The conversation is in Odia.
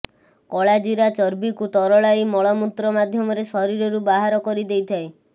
କଳା ଜିରା ଚର୍ବିକୁ ତରଳାଇ ମୂଳମୂତ୍ର ମାଧ୍ୟମରେ ଶରୀରରୁ ବାହାର କରି ଦେଇଥାଏ